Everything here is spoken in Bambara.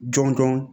Jɔn jɔn